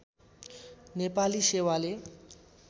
नेपाली सेवाले